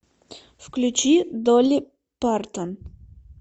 включи долли партон